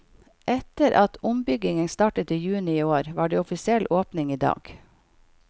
Etter at ombyggingen startet i juni i år, var det offisiell åpning i dag.